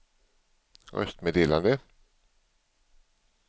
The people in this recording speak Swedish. röstmeddelande